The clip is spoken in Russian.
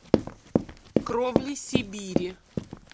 кровли сибири